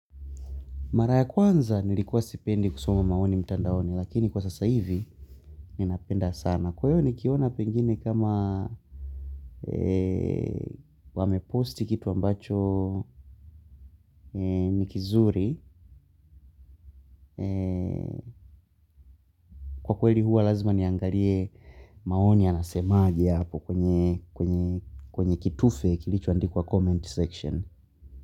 Mara ya kwanza nilikuwa sipendi kusoma maoni mtandaoni lakini kwa sasa hivi ninapenda sana. Kwa hiyo nikiona pengine kama wameposti kitu ambacho ni kizuri. Kwa kweli huwa lazima niangalie maoni yanasemaje hapo kwenye kitufe kilichoandikwa comment section.